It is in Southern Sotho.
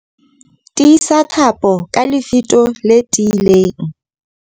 Tiisa thapo ka lefito le tiileng.